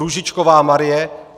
Růžičková Marie